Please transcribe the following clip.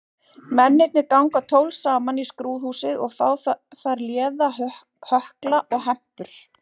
Mennirnir ganga tólf saman í skrúðhúsið og fá þar léða hökla og hempur.